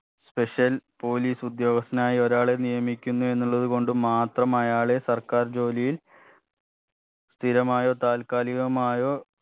special police ഉദ്യോഗസ്ഥനായ ഒരാളെ നിയക്കുന്ന എന്നുള്ളത് കൊണ്ട് മാത്രം അയാളെ സർക്കാർ ജോലിയിൽ സ്ഥിരമായോ താല്കാലികമായോ